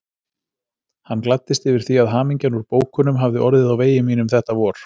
Hann gladdist yfir því að hamingjan úr bókunum hafði orðið á vegi mínum þetta vor.